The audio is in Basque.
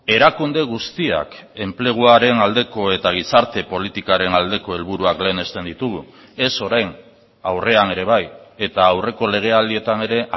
erakunde guztiak enpleguaren aldeko eta gizarte politikaren aldeko helburuak lehenesten ditugu ez orain aurrean ere bai eta aurreko legealdietan ere